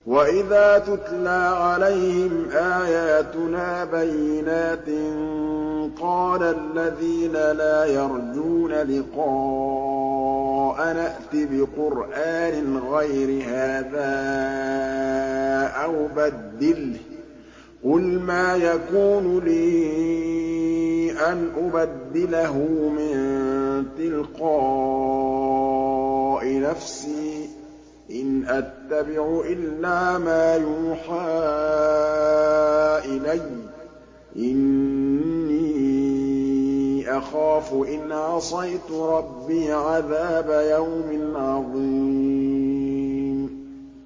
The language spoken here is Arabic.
وَإِذَا تُتْلَىٰ عَلَيْهِمْ آيَاتُنَا بَيِّنَاتٍ ۙ قَالَ الَّذِينَ لَا يَرْجُونَ لِقَاءَنَا ائْتِ بِقُرْآنٍ غَيْرِ هَٰذَا أَوْ بَدِّلْهُ ۚ قُلْ مَا يَكُونُ لِي أَنْ أُبَدِّلَهُ مِن تِلْقَاءِ نَفْسِي ۖ إِنْ أَتَّبِعُ إِلَّا مَا يُوحَىٰ إِلَيَّ ۖ إِنِّي أَخَافُ إِنْ عَصَيْتُ رَبِّي عَذَابَ يَوْمٍ عَظِيمٍ